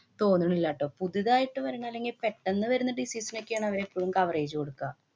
തോന്നുനില്ല ട്ടോ. പുതുതായിട്ട്‌ വരണ അല്ലെങ്കി പെട്ടന്ന് വരുന്ന disease നൊക്കെയാണ് അവര് എപ്പളും coverage കൊടുക്ക.